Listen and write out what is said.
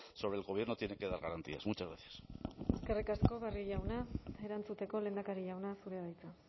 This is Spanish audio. sobre el gobierno tiene que dar garantías muchas gracias eskerrik asko barrio jauna erantzuteko lehendakari jauna zurea da hitza